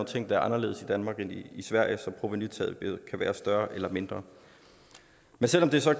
ting der er anderledes i danmark end i sverige så provenutabet kan være større eller mindre selv om det så